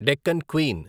Deccan queen